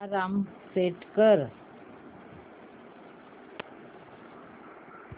alarm set कर